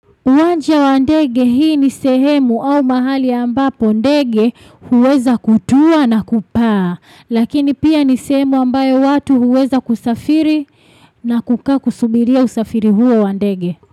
Uwanja wa ndege. Hii ni sehemu au mahali ambapo ndege huweza kutua na kupaa. Lakini pia ni sehemu ambayo watu huweza kusafiri na kusubiria usafiri huo wa ndege.